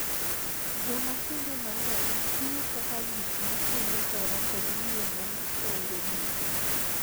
Joma kinde mang�eny tiyo kaka gik ma kelo hera kod yie maonge giko.